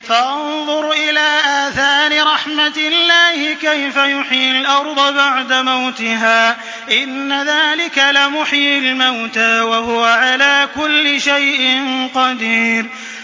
فَانظُرْ إِلَىٰ آثَارِ رَحْمَتِ اللَّهِ كَيْفَ يُحْيِي الْأَرْضَ بَعْدَ مَوْتِهَا ۚ إِنَّ ذَٰلِكَ لَمُحْيِي الْمَوْتَىٰ ۖ وَهُوَ عَلَىٰ كُلِّ شَيْءٍ قَدِيرٌ